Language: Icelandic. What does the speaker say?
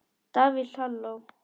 Davíð Halló.